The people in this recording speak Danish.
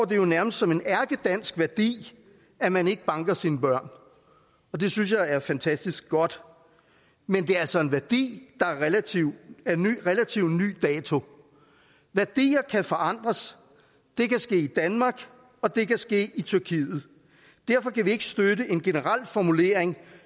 det jo nærmest som en ærkedansk værdi at man ikke banker sine børn og det synes jeg er fantastisk godt men det er altså en værdi der er af relativt ny dato værdier kan forandres det kan ske i danmark og det kan ske i tyrkiet derfor kan vi ikke støtte en generel formulering